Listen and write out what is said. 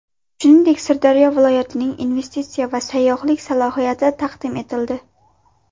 Shuningdek, Surxondaryo viloyatining investitsiya va sayyohlik salohiyati taqdim etildi.